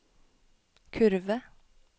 kurve